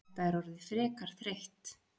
Þetta er orðið frekar þreytt.